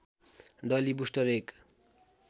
डली बुस्टर एक